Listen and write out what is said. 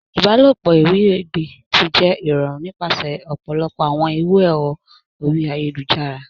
Ìbálòpọ̀ iwiregbe ti jẹ irọrun nipasẹ ọpọlọpọ awọn iru ẹrọ orí ayélujára.